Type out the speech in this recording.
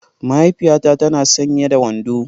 Mahaifiyata tana sanye da wando.